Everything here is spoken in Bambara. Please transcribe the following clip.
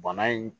Bana in